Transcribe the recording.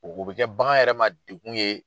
u bɛ kɛ bagan yɛrɛ ma degun ye.